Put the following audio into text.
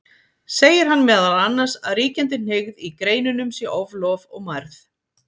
Segir hann meðal annars að ríkjandi hneigð í greinunum sé oflof og mærð.